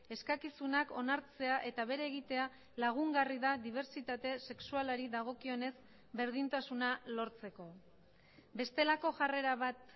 eskakizunak onartzea eta bere egitea lagungarri da dibertsitate sexualari dagokionez berdintasuna lortzeko bestelako jarrera bat